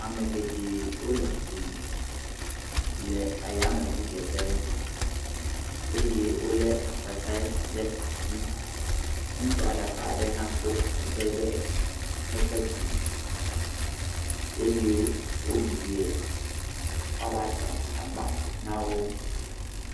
Ame geɖe o le fli me le ayame ʋu dzeƒe, eye o lé akpete ɖe asi, ŋutsua ɖeka ɖe hã ko akpete ɖe eƒe tume, eye wo yie woa ba tsa agbame nawo.